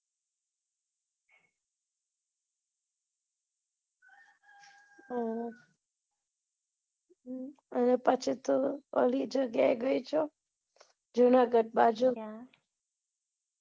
હા પછી તો પેલી જગ્યા એ ગઈ છે જુનાગઢ બાજુ ક્યા